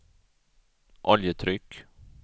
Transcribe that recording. oljetryck